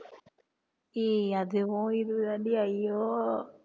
ஏய் அதுவும் இதுதாண்டி ஐயோ